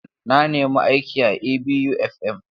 Na nemi aiki a ABU FM.